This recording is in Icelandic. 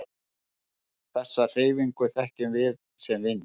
Þessa hreyfingu þekkjum við sem vind.